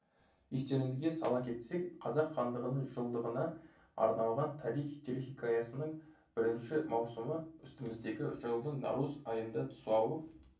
естеріңізге сала кетсек қазақ хандығының жылдығына арналған тарихи телехикаясының бірінші маусымы үстіміздегі жылдың наурыз айында тұсауы